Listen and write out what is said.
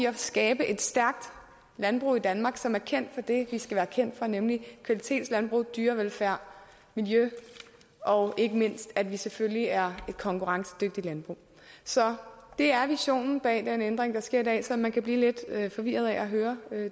at skabe et stærkt landbrug i danmark som er kendt for det vi skal være kendt for nemlig kvalitetslandbrug dyrevelfærd miljø og ikke mindst at vi selvfølgelig er et konkurrencedygtigt landbrug så det er visionen bag den ændring der sker i dag selv om man kan blive lidt forvirret af at høre